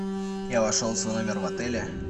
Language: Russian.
я вошел в свой номер в отеле